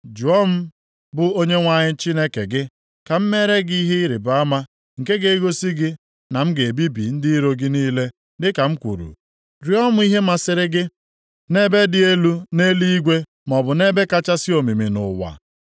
“Jụọ m bụ Onyenwe anyị Chineke gị, ka m meere gị ihe ịrịbama nke ga-egosi gị na m ga-ebibi ndị iro gị niile dịka m kwuru. Rịọọ m ihe masịrị gị, nʼebe dị elu nʼeluigwe maọbụ nʼebe kachasị omimi nʼụwa.”